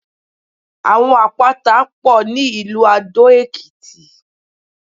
Àwọn Àpáta pọ̀ ní ìlú Dó-Èkìtì.